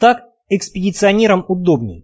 так экспедиционерам удобней